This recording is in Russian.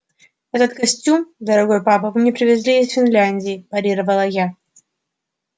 этот костюм дорогой папа вы мне привезли из финляндии парировала я